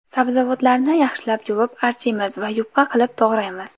Sabzavotlarni yaxshilab yuvib archiymiz va yupqa qilib to‘g‘raymiz.